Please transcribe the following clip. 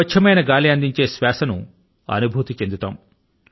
స్వచ్ఛమైన గాలి అందించే శ్వాస ను అనుభూతి చెందుతాము